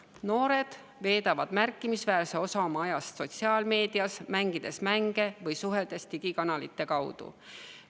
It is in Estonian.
Noored veedavad märkimisväärse osa oma ajast sotsiaalmeedias, mängides mänge või suheldes digikanalite kaudu.